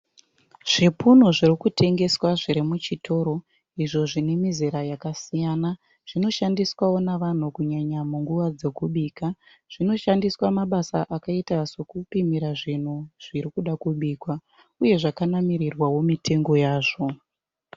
Zvipunu zvirikutengeswa zvirimuchitoro izvo zvinemizera yakasiyana. Zvinoshandiswawo navanhu kunyanya munguva dzokubika. Zvinoshandiswa mabasa akaita sokupimira zvinhu zvirikuda kubikwa uye zvakanamirirwawo mitengo yazvo.